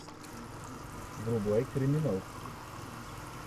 врубай криминал